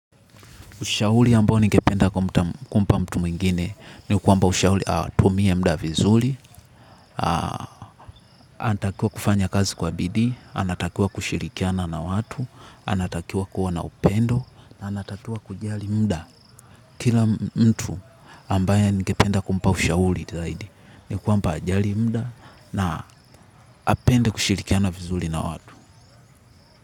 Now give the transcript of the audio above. Ushauli ambao ningependa kumpa mtu mwingine ni kuamba ushauli atumie mda vizuli, anatakiwa kufanya kazi kwa bidii, anatakiwa kushirikiana na watu, anatakiwa kuwa na upendo, na anatakiwa kujali mda kila mtu ambaye ningependa kumpa ushauli zaidi. Nikuamba hajali mda na apende kushirikiana vizuli na watu.